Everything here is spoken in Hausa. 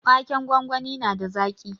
Waken gwangwani na da zaƙi.